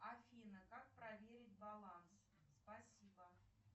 афина как проверить баланс спасибо